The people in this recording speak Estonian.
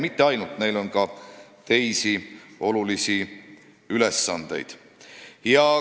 Ja neil on ka teisi olulisi ülesandeid.